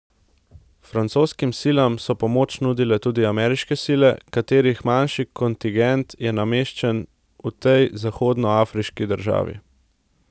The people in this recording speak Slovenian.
Francoskim silam so pomoč nudile tudi ameriške sile, katerih manjši kontingent je nameščen v tej zahodnoafriški državi.